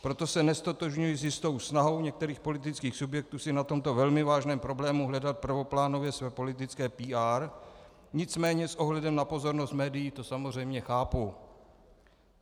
Proto se neztotožňuji s jistou snahou některých politických subjektů si na tomto velmi vážném problému hledat prvoplánově své politické PR, nicméně s ohledem na pozornost médií to samozřejmě chápu.